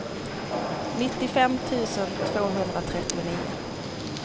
nittiofem tusen tvåhundratrettionio